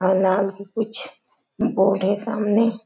कुछ बोर्ड हे सामने--